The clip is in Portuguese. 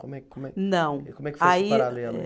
Como é, como é. Não, aí eh. Como é que foi esse paralelo?